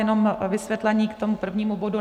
Jenom vysvětlení k tomu prvnímu bodu.